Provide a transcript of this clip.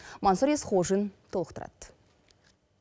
мансұр есқожин толықтырады